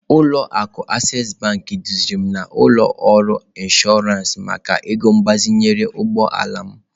Ụlọ akụ Access duziri m n'ụlọ ọrụ Inshọransị maka ego mgbazinye ụgbọ ala m.